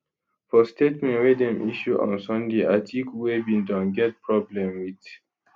for statement wey dem issue on sunday atiku wey bin don get problem wit